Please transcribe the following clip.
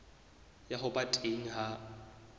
ya ho ba teng ha